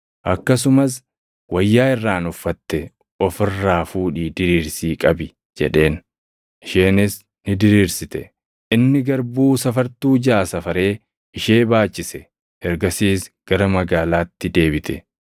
Akkasumas, “Wayyaa irraan uffatte ofi irraa fuudhii diriirsii qabi” jedheen. Isheenis ni diriirsite; inni garbuu safartuu jaʼa safaree ishee baachise. Ergasiis gara magaalaatti deebite.